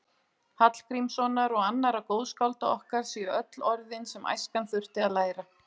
Hallgrímssonar og annarra góðskálda okkar séu öll orðin sem æskan þurfi að læra.